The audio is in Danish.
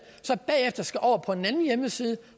så bagefter skal over på en anden hjemmeside